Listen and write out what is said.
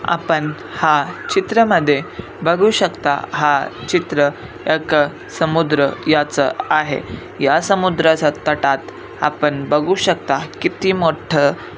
आपण हा चित्र मध्ये बघू शकता हा चित्र एक समुद्र याच आहे या समुद्रच्या तटात आपण बघू शकता किती मोठ--